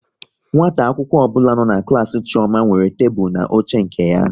Nwata akwụkwọ ọbụla nọ n'klas Chioma nwere tebụl na oche nke ya